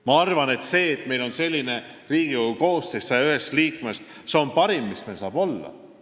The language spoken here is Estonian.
Ma arvan, et see, et meil on selline Riigikogu 101 liikmest koosnev koosseis, on parim, mis meil saab olla.